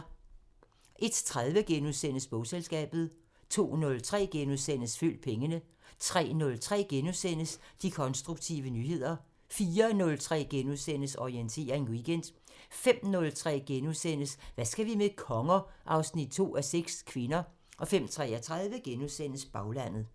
01:30: Bogselskabet * 02:03: Følg pengene * 03:03: De konstruktive nyheder * 04:03: Orientering Weekend * 05:03: Hvad skal vi med konger? 2:6 – Kvinder * 05:33: Baglandet *